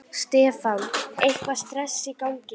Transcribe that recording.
Stefán: Eitthvað stress í gangi?